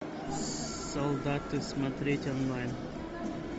солдаты смотреть онлайн